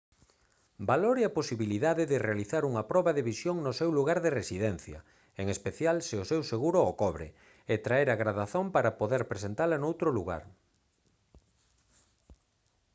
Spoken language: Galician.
valore a posibilidade de realizar unha proba de visión no seu lugar de residencia en especial se o seguro o cobre e traer a gradación para poder presentala noutro lugar